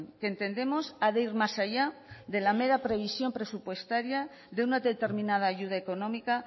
que entendemos ha de ir más allá de la mera previsión presupuestaria de una determinada ayuda económica